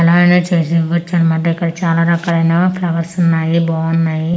అలాగానే చేసి ఇవ్వచ్చు అన్నమాట ఇక్కడ చాలా రకాలైన ఫ్లవర్స్ ఉన్నాయి బావున్నాయి.